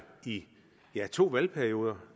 i to valgperioder